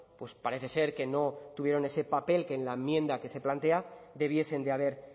pues parece ser que no tuvieron ese papel que en la enmienda que se plantea debiesen de haber